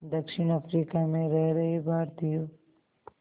दक्षिण अफ्रीका में रह रहे भारतीयों